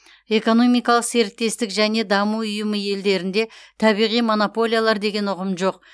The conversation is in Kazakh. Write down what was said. экономикалық серіктестік және даму ұйымы елдерінде табиғи монополиялар деген ұғым жоқ